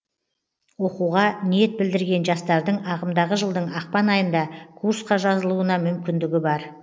оқуға ниет білдірген жастардың ағымдағы жылдың ақпан айында курсқа жазылуына мүмкіндігі бар